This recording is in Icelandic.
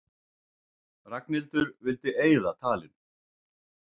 Ragnhildur vildi eyða talinu.